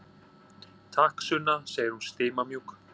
Takk, Sunna, segir hún stimamjúk.